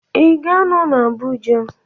Ị ga-anọ na Abuja?